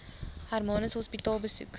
hermanus hospitaal besoek